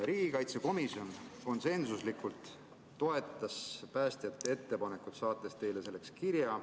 Riigikaitsekomisjon toetas konsensuslikult päästjate ettepanekut, ja saatis teile kirja.